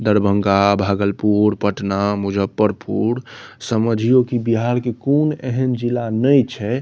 दरभंगा भागलपुर पटना मुज्जफरपुर समझियो कि बिहार के कुन एहन जिला ने छै --